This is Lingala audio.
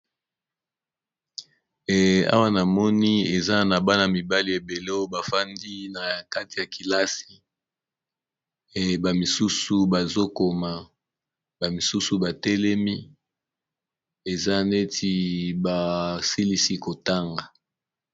Awa na moni eza na bana mibale ebele oyo bafandi na kati ya kilasi, bamisusu bazokoma bamisusu batelemi eza neti basilisi kotanga.